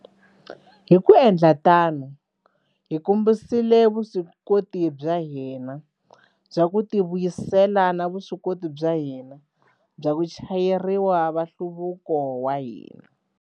Hi ku endla tano, hi kombisile vuswikoti bya hina bya ku tivuyisela na vuswikoti bya hina bya vachayeriwa va nhluvuko wa hina.